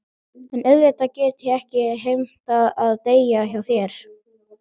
En auðvitað get ég ekki heimtað að deyja hjá þér.